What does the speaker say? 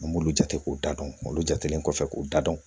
An b'olu jate k'u da dɔn olu jatelen kɔfɛ k'u da dɔn